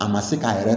A ma se k'a yɛrɛ